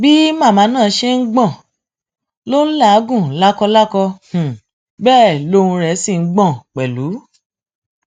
bí màmá náà ṣe ń gbọn ló ń làágùn lákòlákò bẹẹ lohun rẹ sì ń gbọ pẹlú